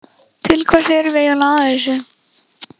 Til hvers erum við eiginlega að þessu?